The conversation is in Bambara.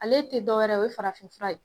Ale te dɔwɛrɛ ye o ye farafinfura ye